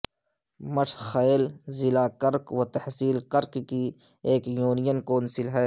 مٹھہ خیل ضلع کرک و تحصیل کرک کی ایک یونین کونسل ہے